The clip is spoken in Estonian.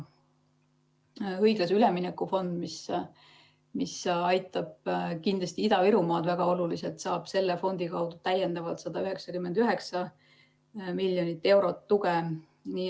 Õiglase ülemineku fond, mis aitab kindlasti Ida-Virumaad väga oluliselt, saab selle kaudu täiendavalt 199 miljonit eurot tuge.